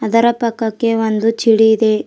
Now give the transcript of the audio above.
ಅದರ ಪಕ್ಕಕ್ಕೆ ಒಂದು ಛಿಡಿ ಇದೆ.